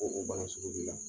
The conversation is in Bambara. Ko o ban sugu b'i la